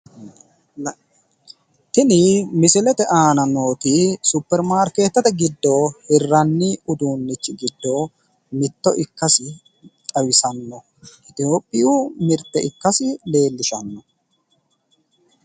Tini misilete aana nooti supermaarkeetete giddo hirranni uduunnichi giddo mitto ikkasi xawisanno. Itophiyu mirte ikkasi leellishanno.